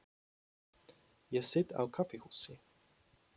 Ég sit á kaffihúsi.